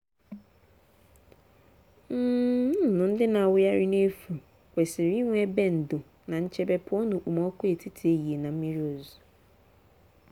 nnụnụ ndị na-awụgharị n’efu kwesiri inwe ebe ndò na nchebe pụọ n’okpomọkụ etiti ehihie na mmiri ozuzo.